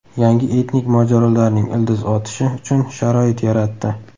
Yangi etnik mojarolarning ildiz otishi uchun sharoit yaratdi.